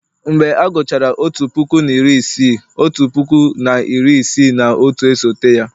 mgbe a gụchara otu puku na iri isii, otu puku na iri isii na otu, esote ya